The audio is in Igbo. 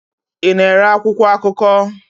Ị na-ere akwụkwọ akụkọ?